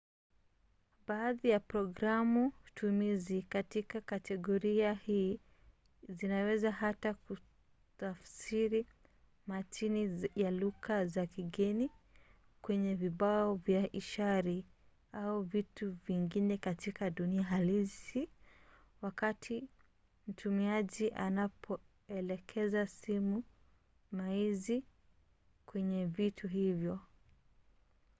baadhi ya programu-tumizi katika kategoria hii zinaweza hata kutafsiri matini ya lugha za kigeni kwenye vibao vya ishara au vitu vingine katika dunia halisi wakati mtumiaji anapoelekeza simu maizi kwenye vitu hivyo